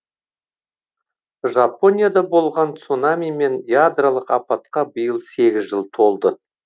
жапонияда болған цунами мен ядролық апатқа биыл сегіз жыл толды